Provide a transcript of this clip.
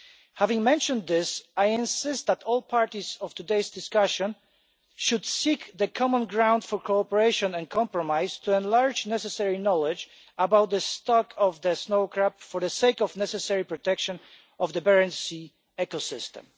Having mentioned this, I insist that all parties to today's discussion should seek common ground for cooperation and compromise to enlarge necessary knowledge about the snow crab population, for the sake of the necessary protection of the Barents Sea ecosystem.